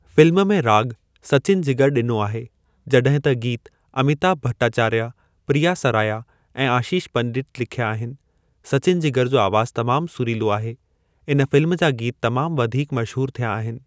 Film में राॻु सचिन जिगर ॾिनो आहे जॾहिं त गीत अमीताभ भट्टाचार्या प्रिया सराया ऐं आशीष पंडित लिख्या आहिनि। सचिन जिगर जो आवाज़ तमाम सुरीलो आहे। इन फ़िल्म जा गीत तमाम वधीक मशहूर थिया आहिनि।